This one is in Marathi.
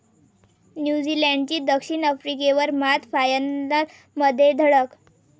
न्यूझीलंडची दक्षिण आफ्रिकेवर मात, फायनलमध्ये धडक